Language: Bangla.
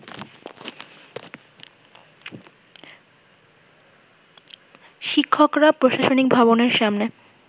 শিক্ষকরা প্রশাসনিক ভবনের সামনে